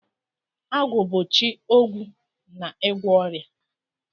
Agwu bu chi ogwu na igwo oria.